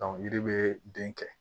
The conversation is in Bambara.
yiri bɛ den kɛ